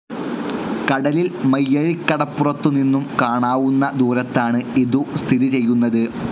കടലിൽ മയ്യഴിക്കടപ്പുറത്തു നിന്നും കാണാവുന്ന ദൂരത്താണ് ഇതു സ്ഥിതി ചെയ്യുന്നത്.